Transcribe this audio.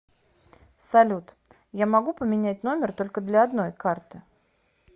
салют я могу поменять номер только для одной карты